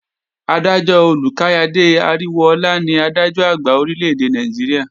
Adájọ́ Olúkáyàde Aríwóọlá ní Adájọ́-Àgbà Orílè-èdè Nàìjíríà